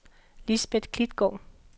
Lisbeth Klitgaard